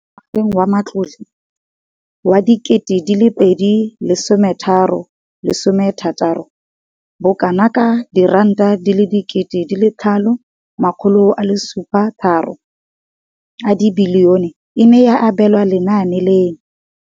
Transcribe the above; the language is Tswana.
Mo ngwageng wa matlole wa 2015,16, bokanaka R5 703 bilione e ne ya abelwa lenaane leno.